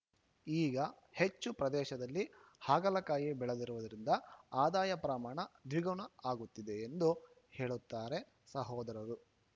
ಈಗ ಹೆಚ್ಚು ಪ್ರದೇಶದಲ್ಲಿ ಹಾಗಲಕಾಯಿ ಬೆಳೆದಿರುವುದರಿಂದ ಆದಾಯ ಪ್ರಮಾಣ ದ್ವಿಗುಣ ಆಗುತ್ತಿದೆ ಎಂದು ಹೇಳುತ್ತಾರೆ ಸಹೋದರರು